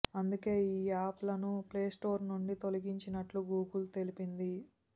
అందుకే ఈ యాప్ లను ప్లేస్టోర్ నుండి తొలిగించినట్టు గూగుల్ తెలిపింది